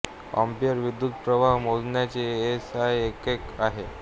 ampere विद्युत प्रवाह मोजण्याचे एस आय एकक आहे